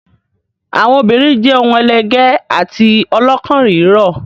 Àwọn obìnrin jẹ́ ohun ẹlẹgẹ́ àti ọlọ́kàn rírọ̀.